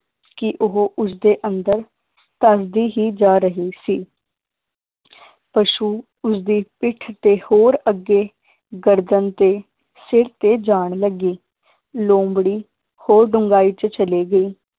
ਕਿ ਉਹ ਉਸਦੇ ਅੰਦਰ ਧੱਸਦੀ ਹੀ ਜਾ ਰਹੀ ਸੀ ਪਸ਼ੂ ਉਸਦੀ ਪਿੱਠ ਤੇ ਹੋਰ ਅੱਗੇ ਗਰਦਨ ਤੇ ਸਿਰ ਤੇ ਜਾਣ ਲੱਗੇ ਲੋਮੜੀ ਹੋਰ ਡੁੰਗਾਈ ਚ ਚਲੀ ਗਈ,